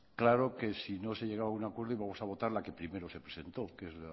claro que si no se llegaba a un acuerdo íbamos a votar la que primero se presentó que es